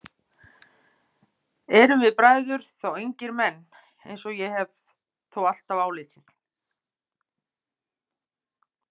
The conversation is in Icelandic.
Erum við bræður þá engir menn, eins og ég hef þó alltaf álitið?